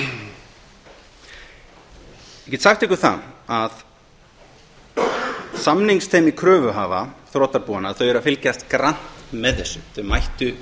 í nóvember ég get sagt ykkur það að samningsteymi kröfuhafa þrotabúanna eru að fylgjast grannt með þessu þau mættu